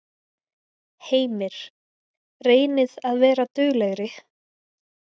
Heimir: Reynið að vera duglegri?